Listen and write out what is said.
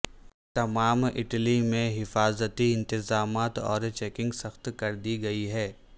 تمام اٹلی میں حفاظتی انتظامات اور چیکنگ سخت کر دی گئی ہے